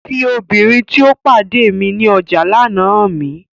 Fi obinrin ti o pade ni ọja lana han mi!